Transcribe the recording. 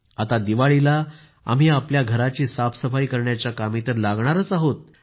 आता दिवाळीला आम्ही आपल्या घराची साफसफाई करण्याच्या कामी तर लागणारच आहोत